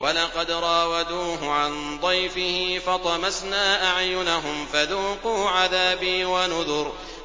وَلَقَدْ رَاوَدُوهُ عَن ضَيْفِهِ فَطَمَسْنَا أَعْيُنَهُمْ فَذُوقُوا عَذَابِي وَنُذُرِ